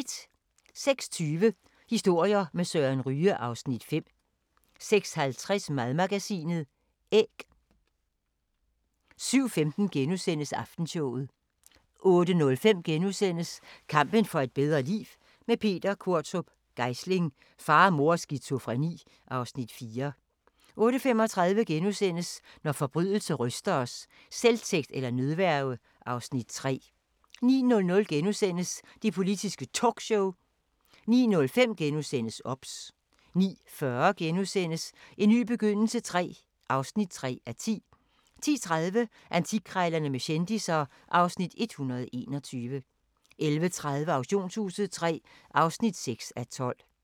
06:20: Historier med Søren Ryge (Afs. 5) 06:50: Madmagasinet - æg 07:15: Aftenshowet * 08:05: Kampen for et bedre liv – med Peter Qvortrup Geisling: Far, mor og skizofreni (Afs. 4)* 08:35: Når forbrydelse ryster os: Selvtægt eller nødværge (Afs. 3)* 09:00: Det Politiske Talkshow * 09:05: OBS * 09:40: En ny begyndelse III (3:10)* 10:30: Antikkrejlerne med kendisser (Afs. 121) 11:30: Auktionshuset III (6:12)